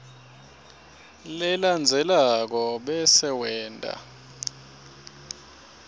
lelandzelako bese wenta